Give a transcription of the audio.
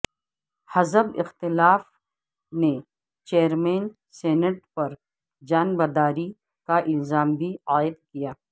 حزب اختلاف نے چیئرمین سینٹ پر جانبداری کا الزام بھی عائد کیا